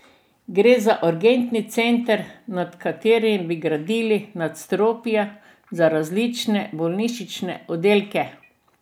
Gre za urgentni center, nad katerim bi gradili nadstropja za različne bolnišnične oddelke.